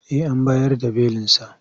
Eh an bayar da belinsa.